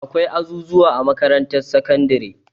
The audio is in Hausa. Akwai azuzuwa a makarantar sakandare.